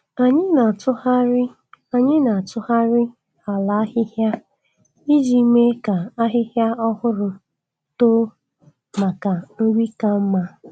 Anyị na-atụgharị Anyị na-atụgharị ala ahịhịa iji mee ka ahịhịa ọhụrụ too maka nri ka mma.